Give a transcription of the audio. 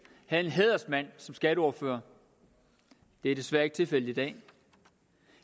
havde en hædersmand som skatteordfører det er desværre ikke tilfældet i dag